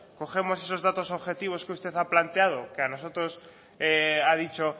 cogemos esos datos objetivos que usted ha planteado que a nosotros ha dicho